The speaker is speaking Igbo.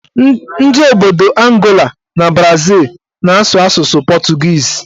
Ndị obodo Angola na Brazịl na-asụ asụsụ pọtụgiizi